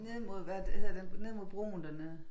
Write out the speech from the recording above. Nede mod hvad hedder den nede mod broen dernede